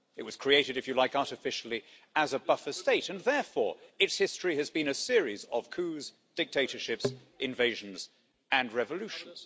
It was created, if you like, artificially, as a buffer state and therefore its history has been a series of coups, dictatorships, invasions and revolutions.